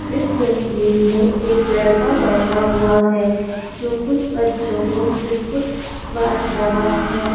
इस तस्वीर मे एक लड़का बैठा हुआ है जो कुछ बच्चों को बिस्कुट बांट रहा है।